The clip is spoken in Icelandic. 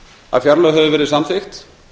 að fjárlög höfðu verið samþykkt